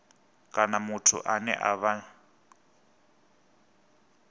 kana muthu ane a vha